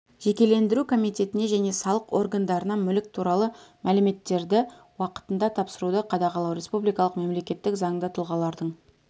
жекешелендіру комитетіне және салық органдарына мүлік туралы мәліметтерді уақытында тапсыруды қадағалау республикалық мемлекеттік заңды тұлғалардың